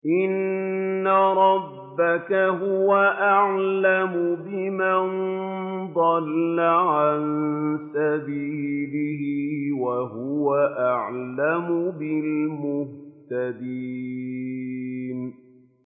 إِنَّ رَبَّكَ هُوَ أَعْلَمُ بِمَن ضَلَّ عَن سَبِيلِهِ وَهُوَ أَعْلَمُ بِالْمُهْتَدِينَ